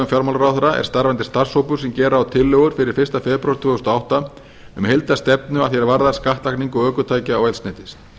fjármálaráðherra er starfandi starfshópur sem gera á tillögur fyrir fyrsta febrúar tvö þúsund og átta um heildarstefnu að því er varðar skattlagningu ökutækja og eldsneytis